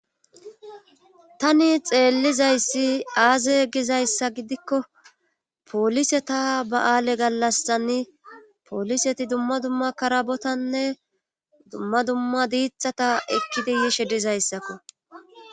Tani xeellizayssi aaze gizayssa gidikko poolise ta ba7aale gallastani pooliseti dumma dumma karabotanne dumma dumma diixata ekkidi yishe dizayssakko.